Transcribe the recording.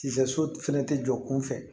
Sisɛ so fɛnɛ tɛ jɔ kunfɛ